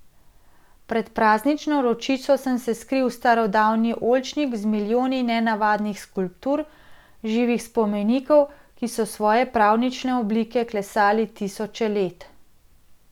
Pred praznično vročico sem se skril v starodavni oljčnik z milijoni nenavadnih skulptur, živih spomenikov, ki so svoje pravljične oblike klesali tisoče let.